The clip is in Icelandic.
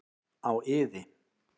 Á iði.